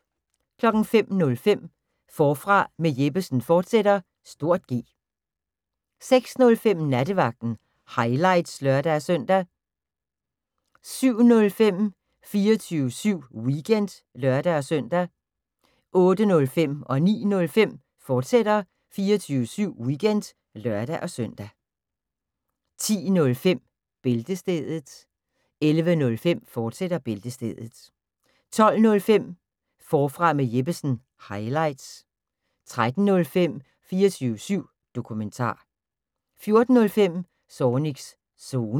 05:05: Forfra med Jeppesen fortsat (G) 06:05: Nattevagten – highlights (lør-søn) 07:05: 24syv Weekend (lør-søn) 08:05: 24syv Weekend, fortsat (lør-søn) 09:05: 24syv Weekend, fortsat (lør-søn) 10:05: Bæltestedet 11:05: Bæltestedet, fortsat 12:05: Forfra med Jeppesen – highlights 13:05: 24syv Dokumentar 14:05: Zornigs Zone